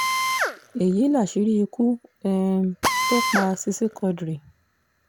èyí láṣìírí ikú um tó pa sisi quadri